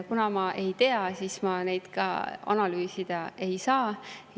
Kuna ma seda ei tea, siis ma neid ka analüüsida ei saa.